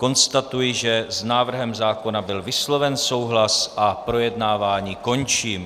Konstatuji, že s návrhem zákona byl vysloven souhlas, a projednávání končím.